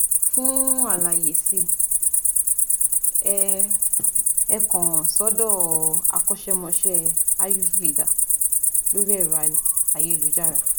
Fún àlàyé si ẹ ẹ kàn ssọ́dọ̀ akọ́ṣẹ́mọsé ayurveda lórí ẹ̀rọ ayélujára